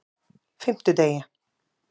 fimmtudegi